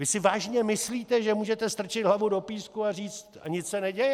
Vy si vážně myslíte, že můžete strčit hlavu do písku a říct "nic se neděje"?